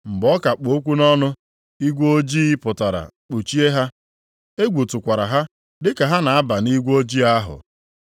Mgbe ọ ka kpụ okwu nʼọnụ, igwe ojii pụtara kpuchie ha. Egwu tụkwara ha dị ka ha na-aba nʼigwe ojii ahụ.